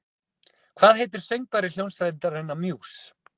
Hvað heitir söngvari hljómsveitarinnar Muse?